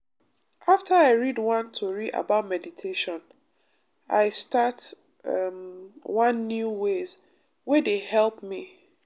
after i read one tori about meditation i start um one new ways wey dey help me.